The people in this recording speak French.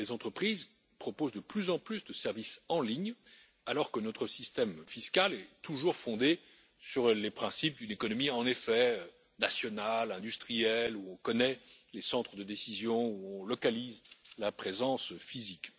Les entreprises proposent de plus en plus de services en ligne alors que notre système fiscal est toujours fondé sur les principes d'une économie nationale, industrielle, où on connaît les centres de décision, où on localise la présence physique.